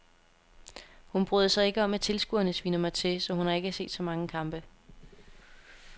Hun bryder sig ikke om at tilskuerne sviner mig til, så hun har ikke set så mange kampe.